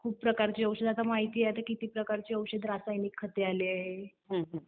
खूप प्रकारचे औषधे, आता आपल्याला माहित आहे किती प्रकारचे औषधे आता रासायनिक खते आली आहेत.